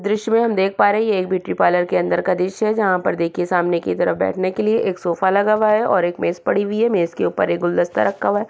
दृश्य में हम देख पा रहें हैं ये एक ब्यूटी पार्लर के अन्दर का दृश्य है जहाँ पर देखिये सामने की तरफ बैठने के लिए एक सोफा लगा हुआ है और एक मेज पड़ी हुई है मेज के उपर एक गुलदस्ता रखा हुआ है।